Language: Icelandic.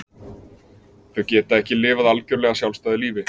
Þau geta ekki lifað algjörlega sjálfstæðu lífi.